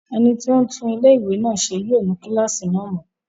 Ẹni tó ń tún ilé-ìwé náà ṣe yóò nu kílásì náà mọ́